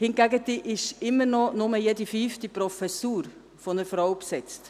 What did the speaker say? Hingegen ist immer noch nur jede fünfte Professur durch eine Frau besetzt.